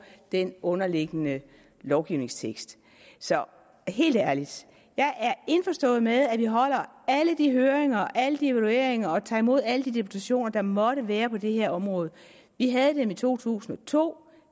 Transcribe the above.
den underliggende lovgivningstekst så helt ærligt jeg er indforstået med at vi holder alle de høringer og alle de evalueringer og tager imod alle de deputationer der måtte være på det her område vi havde dem i to tusind og to